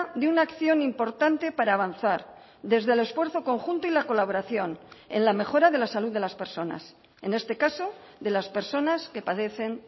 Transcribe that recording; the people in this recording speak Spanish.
de una acción importante para avanzar desde el esfuerzo conjunto y la colaboración en la mejora de la salud de las personas en este caso de las personas que padecen